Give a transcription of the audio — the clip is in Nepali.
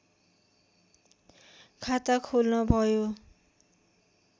खाता खोल्न भयो